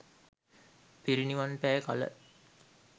පිරිනිවන් පෑ කළ